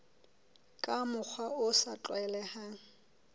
ka mokgwa o sa tlwaelehang